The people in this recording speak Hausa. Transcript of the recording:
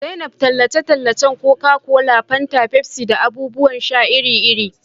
zainab tallace-tallace Coca-Cola, fanta, Pepsi da abubuwan sha iri-iri.